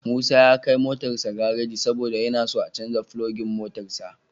Musa ya kai motarsa gareji saboda yana so a canja filogan motarsa.